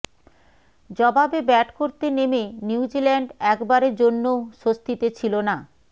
জবাবে ব্যাট করতে নেমে নিউজিল্যান্ড একবারের জন্যও স্বস্তিতে ছিল না